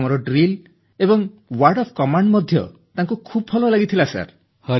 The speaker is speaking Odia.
ଆମର ଡ୍ରିଲ ଏବଂ ୱର୍ଡ ଅଫ କମାଣ୍ଡ ମଧ୍ୟ ତାଙ୍କୁ ଖୁବ୍ ଭଲ ଲାଗିଥିଲା ସାର୍